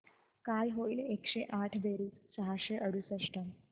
काय होईल एकशे आठ बेरीज सहाशे अडुसष्ट